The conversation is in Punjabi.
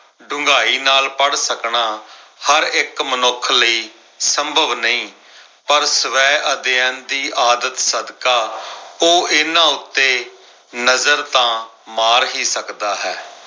ਡੂੰਘਾਈ ਨਾਲ ਪੜ੍ਹ ਸਕਣਾ, ਹਰ ਇੱਕ ਮਨੁੱਖ ਸੰਭਵ ਨਈ ਪਰ ਸਵੈ ਅਧਿਐਨ ਦੀ ਆਦਤ ਸਦਕਾ, ਉਹ ਇਨ੍ਹਾਂ ਉੱਤੇ ਨਜ਼ਰ ਤਾਂ ਮਾਰ ਹੀ ਸਕਦਾ ਹੈ।